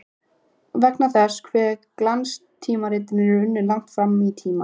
Vegna þess hve glanstímaritin eru unnin langt fram í tímann.